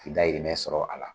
K'i dayrimɛ sɔrɔ a la